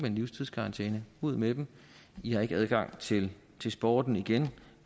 livstidskarantæne ud med dem de har ikke adgang til til sporten igen